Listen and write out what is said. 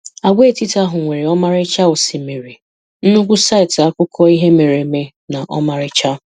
Àgwàetiti ahụ nwere ọmarịcha osimiri, nnukwu saịtị akụkọ ihe mere eme na ọmarịcha